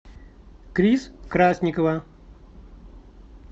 крис красникова